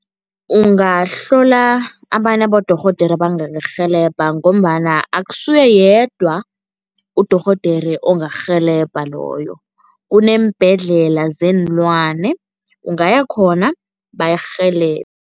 Ungahlola abanye abodorhodera abangakurhelebha ngombana akusuye yedwa udorhodere ongakurhelebha loyo, kuneembhedlela zeenlwane ungayakhona, bakurhelebhe.